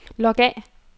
log af